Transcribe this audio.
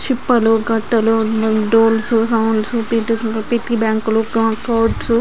చిప్లు గందులు and doors and sounds --